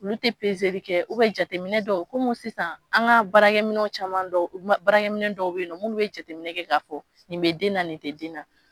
Olu tɛ kɛ jateminɛ dɔw kɔmi sisan an ka baarakɛminɛnw caman baaraminɛ dɔw bɛ yen nɔ minnu bɛ jateminɛ kɛ k'a fɔ nin bɛ den na nin tɛ den na